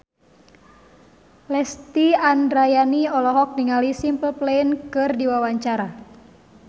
Lesti Andryani olohok ningali Simple Plan keur diwawancara